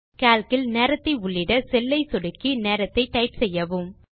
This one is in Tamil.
கால்க் இல் நேரத்தை உள்ளிட செல் ஐ சொடுக்கி நேரத்தை டைப் செய்யவும்